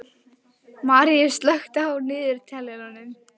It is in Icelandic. Maríus, slökktu á niðurteljaranum.